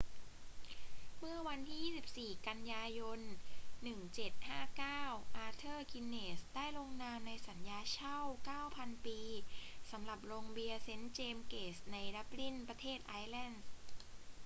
เมื่อวันที่ 24 กันยายน 1759 อาเธอร์ กินเนสส์ได้ลงนามในสัญญาเช่า 9,000 ปีสำหรับโรงเบียร์เซนต์เจมส์เกตในดับลิน ประเทศไอร์แลนด์